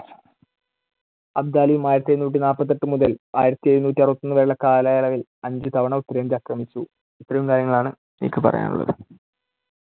അബ്ദാലിയും ആയിരത്തിഎഴുനൂറ്റിനാല്പത്തിയെട്ട് മുതൽ ആയിരത്തിഎഴുനൂറ്റിഅറുപത്തിയൊന്ന് വരെയുള്ള കാലയളവിൽ അഞ്ചു തവണ ഉത്തരേന്ത്യ ആക്രമിച്ചു. ഇത്രയും കാര്യങ്ങളാണ് എനിക്ക് പറയാനുള്ളത്.